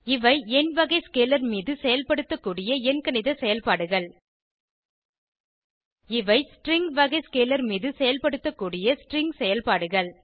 இவை எண் வகை ஸ்கேலர் மீது செயல்படுத்தக்கூடிய எண்கணித செயல்பாடுகள் இவை ஸ்ட்ரிங் வகை ஸ்கேலர் மீது செயல்படுத்தக்கூடிய ஸ்ட்ரிங் செயல்பாடுகள்